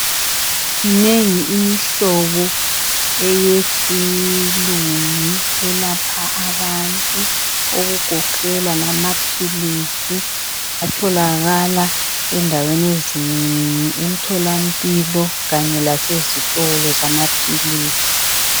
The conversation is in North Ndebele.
Minengi imihlobo yesilungu elapha abantu okugoqedela amaphilisi atholakala endaweni ezinengi emtholampilo kanye lasezitolo zamaphilisi.